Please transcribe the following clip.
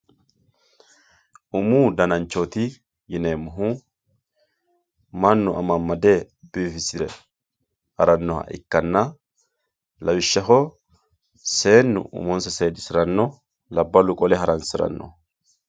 Umu dana'nchooti yineemohu manu amamade biifisire haranoha ikkanna lawishaho seenu uumonssa seedisiranno labalu qole haransirano